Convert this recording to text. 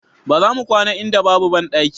Ba za mu kwana a inda babu bandaki